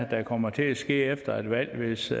der kommer til at ske efter et valg hvis